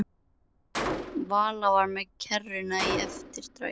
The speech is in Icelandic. Vala var með kerruna í eftirdragi.